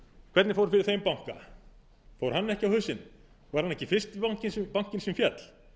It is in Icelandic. hvernig fór fyrir þeim banka fór hann ekki á hausinn var hann fyrsti bankinn sem féll